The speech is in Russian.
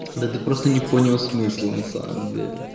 да ты просто не понял смысла на самом деле